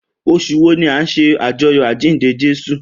Osùn wo ni a n se ajoyọ ajinde Jesu?